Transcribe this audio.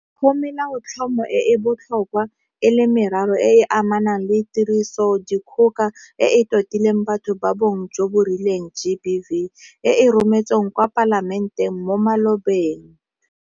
Go Melaotlhomo e e botlhokwa e le meraro e e amanang le Tirisodikgoka e e Totileng Batho ba Bong jo bo Rileng GBV e e rometsweng kwa Palamenteng mo malobeng.